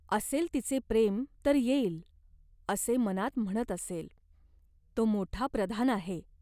असेल तिचे प्रेम तर येईल, असे मनात म्हणत असेल. तो मोठा प्रधान आहे.